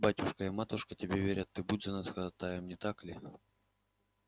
батюшка и матушка тебе верят ты будешь за нас ходатаем не так ли